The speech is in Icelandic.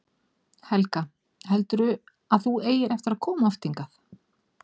Helga: Heldurðu að þú eigir eftir að koma oft hingað?